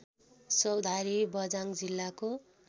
चौधारी बझाङ जिल्लाको